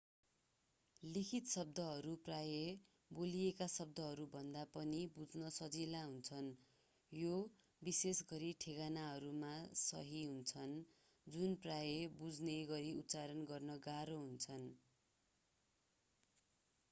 लिखित शब्दहरू प्रायः बोलिएका शब्दहरूभन्दा पनि बुझ्न सजिला हुन्छन् यो विशेषगरी ठेगानाहरूमा सही हुन्छ जुन प्रायः बुझिने गरी उच्चारण गर्न गाह्रो हुन्छन्